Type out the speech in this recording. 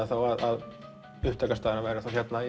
þá að upptakastaðurinn væri þá hérna